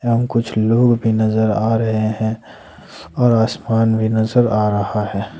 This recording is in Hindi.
एवं कुछ लोग भी नजर आ रहे हैं और आसमान भी नजर आ रहा है।